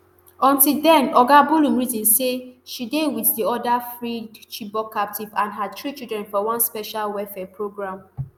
until den oga bullum reason say she dey wit di oda freed chibok captives and her three children for one special welfare programme